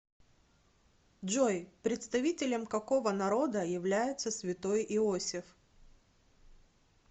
джой представителем какого народа является святой иосиф